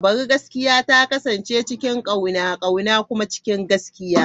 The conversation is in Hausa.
Bari gaskiya ta kasance cikin kauna, kauna kuma cikin gaskiya.